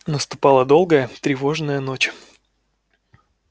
наступала долгая тревожная ночь